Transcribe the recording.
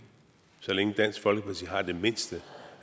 så længe dansk folkeparti har det mindste